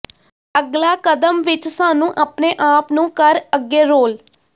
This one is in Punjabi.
ਅਗਲਾ ਕਦਮ ਵਿਚ ਸਾਨੂੰ ਆਪਣੇ ਆਪ ਨੂੰ ਕਰ ਅੱਗੇ ਰੋਲ